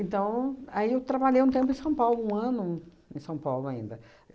Então, aí eu trabalhei um tempo em São Paulo, um ano em São Paulo ainda.